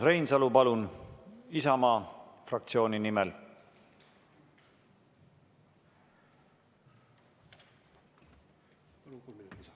Urmas Reinsalu, palun, Isamaa fraktsiooni nimel!